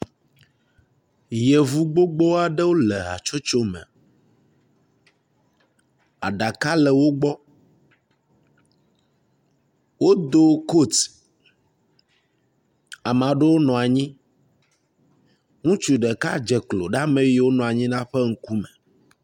Yevu gbogbo aɖewo le hatsotso me. Aɖaka le wo gbɔ. Wodo kot. Ame aɖewo nɔ anyi. Ŋutsu ɖeka dze klo ɖe ame yiwo nɔ anyi la ƒe ŋkume.